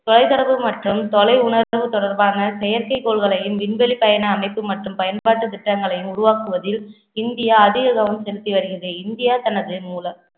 தொலை தொடர்பு மற்றும் தொலை உணர்வு தொடர்பான செயற்கை கோள்களையும் விண்வெளிப் பயண அமைப்பு மற்றும் பயன்பாட்டுத் திட்டங்களையும் உருவாக்குவதில் இந்தியா அதிக கவனம் செலுத்தி வருகிறது இந்தியா தனது மூலம்